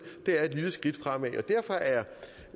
det er et lille skridt fremad derfor er